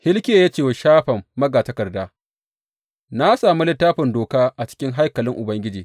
Hilkiya ya ce wa Shafan magatakarda, Na sami Littafin Doka a cikin haikalin Ubangiji.